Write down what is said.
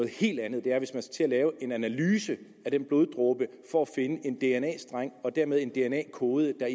helt andet er hvis man skal lave en analyse af den bloddråbe for at finde en dna streng og dermed en dna kode der